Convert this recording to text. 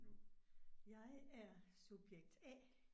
Jeg er subjekt A